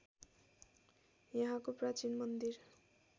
यहाँको प्राचीन मन्दिर